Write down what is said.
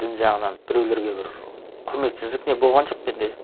дін жағынан біреулерге бір құрметсіздік не болған жоқ менде